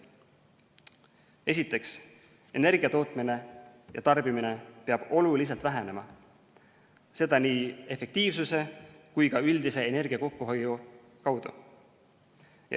Esiteks, energiatootmine ja -tarbimine peab oluliselt vähenema, seda nii efektiivsuse kui ka üldise energia kokkuhoiu kaudu.